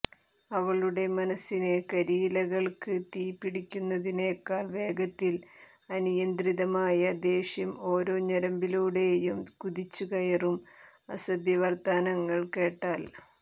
അവളുടെ മനസ്സിന് കരിയിലകൾക്ക് തീ പിടിക്കുന്നതിനേക്കാൾ വേഗത്തിൽ അനിയന്ത്രിതമായ ദേഷ്യം ഒരോ ഞെരമ്പിലൂടേയും കുതിച്ചു കയറും അസഭ്യവർത്തമാനങ്ങൾ കേട്ടാൽ